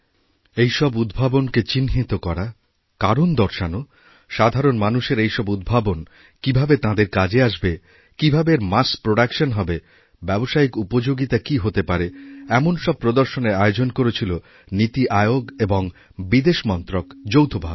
এই সব উদ্ভাবনকে চিহ্নিতকরা কারণ দর্শানো এই সব উদ্ভাবন কীভাবে সাধারণ মানুষের কাজে আসবে কীভাবে এর মাস প্রোডাকশন হবেব্যবসায়িক উপযোগিতা কী হতে পারে এমন সব প্রদর্শনের আয়োজন করেছিল নীতি আয়োগ এবংবিদেশ মন্ত্রক যৌথভাবে